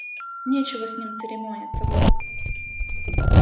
нечего с ними церемониться волк